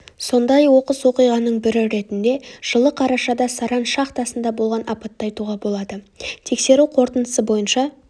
сондай оқыс оқиғаның бірі ретінде жылы қарашада саран шахтасында болған апатты айтуға болады тексеру қорытындысы бойынша